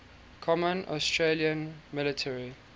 common australian military